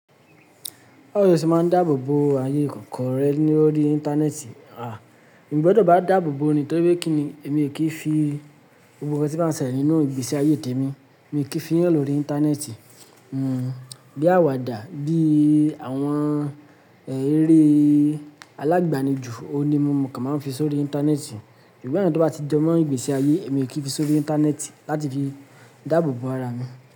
Báwo ni o ṣe máa ń dáàbò bo ayé kọ̀ọ̀kan rẹ lórí Íńtánẹ́ẹ̀tì? À, èmi gbọ́dọ̀ bá dáàbò bo ni nítorí pé kí ni èmi kì í fi gbogbo nkan tí bá ń ṣẹlẹ̀ nínú ìgbésí ayé tèmi, èmi kì í fi hàn lórí Íńtánẹ́ẹ̀tì. Hmm, bí àwàdà, bí àwọn eré alágbànijù, òun ni mo mọ̀ kí a máa ń fi sórí Íńtánẹ́ẹ̀tì. Sugbon awon tí ó bá ti jẹ́ mọ́ ìgbésí ayé, èmi kì í fi sórí Íńtánẹ́ẹ̀tì láti fi dáàbò bo ara mi.